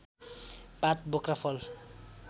पात बोक्रा फल